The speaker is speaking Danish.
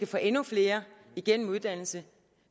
få endnu flere gennem uddannelse